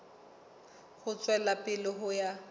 ho tswela pele ho ya